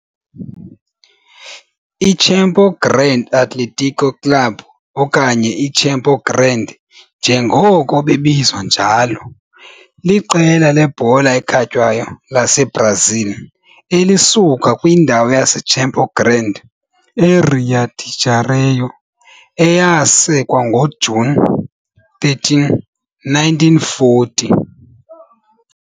I-Campo Grande Atlético Clube, okanye iCampo Grande njengoko bebizwa njalo, liqela lebhola ekhatywayo laseBrazil elisuka kwindawo yaseCampo Grande, eRio de Janeiro eRio de Janeiro, eyasekwa ngoJuni 13, 1940.